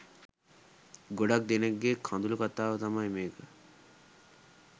ගොඩක් දෙනෙක්ගේ කඳුළු කතාව තමයි මේක.